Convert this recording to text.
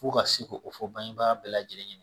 F'u ka se ko o fɔ bangebaa bɛɛ lajɛlen